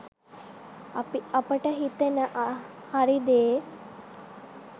අපි අපට හිතෙන හරි දේ